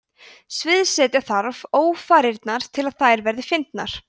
sviðsetja þarf ófarirnar til að þær verði fyndnar